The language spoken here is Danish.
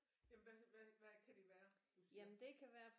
Jamen hvad kan det være du siger